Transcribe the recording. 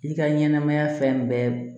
I ka ɲɛnɛmaya fɛn bɛɛ